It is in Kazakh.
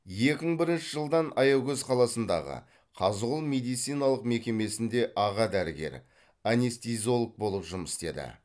екі мың бірінші жылдан аягөз қаласындағы қазығұл медициналық мекемесінде аға дәрігер анестезиолог болып жұмыс істеді